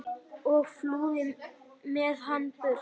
og flúði með hana burt.